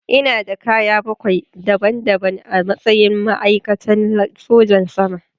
Ina da kaya bakwai daban-daban a matsayin ma'aikatan sojan sama.